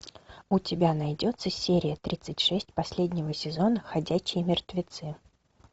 у тебя найдется серия тридцать шесть последнего сезона ходячие мертвецы